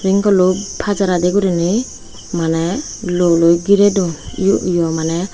ring kullo pajaredi gurinei maney luoloi girey duon yo yo maney.